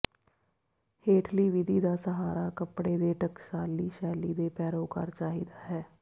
ਹੇਠਲੀ ਵਿਧੀ ਦਾ ਸਹਾਰਾ ਕੱਪੜੇ ਦੇ ਟਕਸਾਲੀ ਸ਼ੈਲੀ ਦੇ ਪੈਰੋਕਾਰ ਚਾਹੀਦਾ ਹੈ